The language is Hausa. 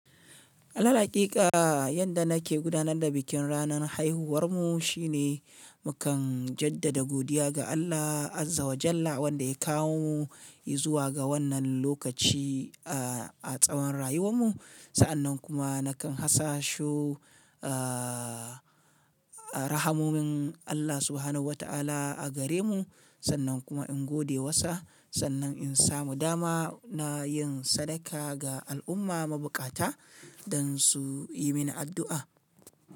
Alal haƙika, yadda nake gudanar da bikin ranar haihuwarmu shine mukan jaddada godiya ga Allah, azza wa jalla, wanda ya kawo mu yi zuwa ga wannan lokaci a tsawon rayuwarmu. Sa'an nan kuma nakan hasasho, ah, ah rahamomin Allah subhanahu wata'ala a gare mu. Sannan kuma in gode wassa. Sannan in samu dama, na yin sadaka ga al'umma mabukata don su yi mini addu'a.